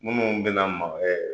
Minnu bɛna